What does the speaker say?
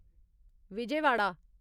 Vijayawada